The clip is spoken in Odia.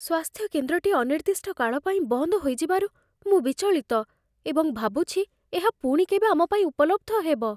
ସ୍ୱାସ୍ଥ୍ୟକେନ୍ଦ୍ରଟି ଅନିର୍ଦ୍ଦିଷ୍ଟ କାଳ ପାଇଁ ବନ୍ଦ ହୋଇଯିବାରୁ ମୁଁ ବିଚଳିତ, ଏବଂ ଭାବୁଛି ଏହା ପୁଣି କେବେ ଆମ ପାଇଁ ଉପଲବ୍ଧ ହେବ।